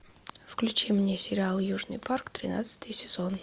включи мне сериал южный парк тринадцатый сезон